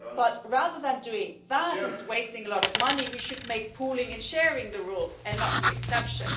But rather than doing that and wasting a lot of money, we should make pooling and sharing the rule, and not the exception.